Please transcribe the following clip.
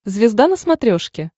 звезда на смотрешке